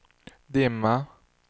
dimma